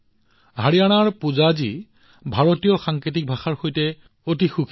হাৰিয়ানাৰ পৰা অহা পূজাজী ভাৰতীয় সাংকেতিক ভাষাৰ সৈতে অতি সুখী